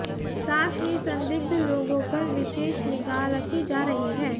साथ ही संदिग्ध लोगों पर विशेष निगाह रखी जा रही है